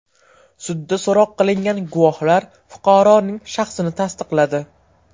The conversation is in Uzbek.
Sudda so‘roq qilingan guvohlar fuqaroning shaxsini tasdiqladi.